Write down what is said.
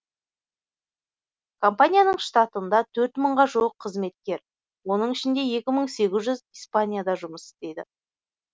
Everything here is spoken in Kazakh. компанияның штатында төрт мыңға жуық қызметкер оның ішінде екі мың сегіз жүз испанияда жұмыс істейді